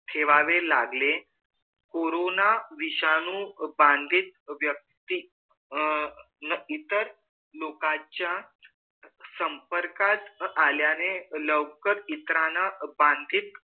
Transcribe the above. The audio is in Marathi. ठेवाववे लागले कोरोना विषाणु बंधित व्यक्ति अ न इतर लोकांच्या संपर्कात आल्याने लौकर इतराना बंधित